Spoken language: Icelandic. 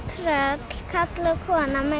tröll karl og kona með